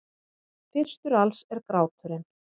Fyrstur alls er gráturinn.